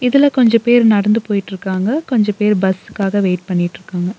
இதுல கொஞ்ச பேர் நடந்து போயிட்ருக்காங்க கொஞ்ச பேர் பஸ்க்காக வெயிட் பண்ணிட்ருக்காங்க.